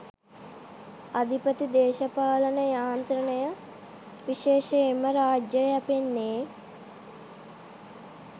අධිපති දේශපාලන යාන්ත්‍රණය විශේෂයෙන්ම රාජ්‍යය යැපෙන්නේ